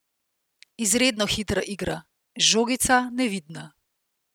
Izredno hitra igra, žogica nevidna.